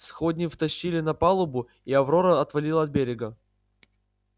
сходни втащили на палубу и аврора отвалила от берега